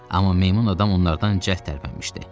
Amma meymun adam onlardan cəld tərpənmişdi.